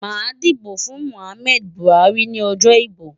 Màá dìbò fún Muhammad Buhari ní ọjọ́ ìbò.